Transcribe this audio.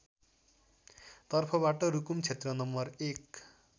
तर्फबाट रुकुम क्षेत्र नं १